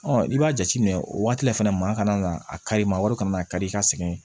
Ɔ i b'a jateminɛ o waati la fɛnɛ maa kana a kari maa wɛrɛ kana a kari i ka sɛgɛn